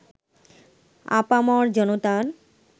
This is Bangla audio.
আপামর জনতার